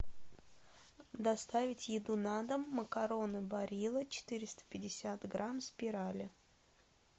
доставить еду на дом макароны барилла четыреста пятьдесят грамм спирали